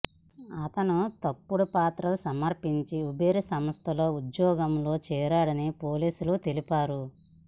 అతను తప్పుడు పత్రాలు సమర్పించి ఉబేర్ సంస్థలో ఉద్యోగంలో చేరాడని పోలీసులు తెలిపారు